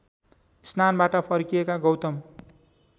स्नानबाट फर्किएका गौतम